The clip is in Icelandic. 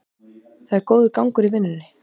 Það er góður gangur í vinnunni